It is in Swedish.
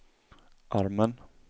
armen